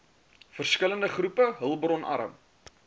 verskillende groepe hulpbronarm